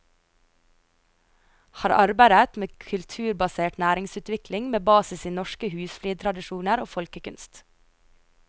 Har arbeidet med kulturbasert næringsutvikling med basis i norske husflidstradisjoner og folkekunst.